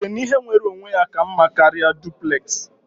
Ị chere na ihe nwere onwe ya ka mma karịa duplex?